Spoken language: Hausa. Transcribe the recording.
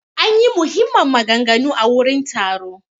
An ƴi muhimman maganganu a wurin taro.